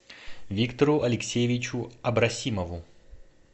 виктору алексеевичу абросимову